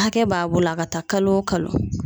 Hakɛ b'a bolo a ka taa kalo o kalo.